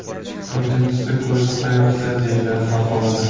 To‘rtinchisi ko‘zi qayoqda?” deyiladi maqolada.